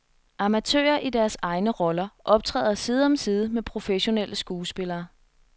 Amatører i deres egne roller optræder side om side med professionelle skuespillere.